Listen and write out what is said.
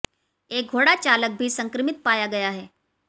एक घोड़ा चालक भी संक्रमित पाया गया है